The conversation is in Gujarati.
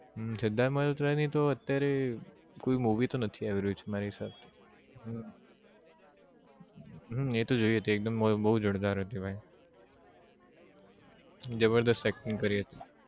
હમ સિધાર્થ મલોહત્રા ની તો અત્યારે કોઈ movie તો નથી આવી રહ્યું છે મારે હિસાબે હમ એ તો જોઈ હતી એક દમ બહુ બહુ જોરદાર હતી ભાઈ જબરદસ્ત acting કરી હતી